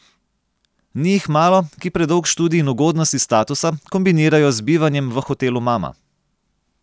Ni jih malo, ki predolg študij in ugodnosti statusa kombinirajo z bivanjem v hotelu mama.